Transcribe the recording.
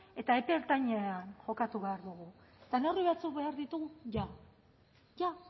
eta epe ertainera kokatu behar dugu eta neurri batzuk behar ditugu jada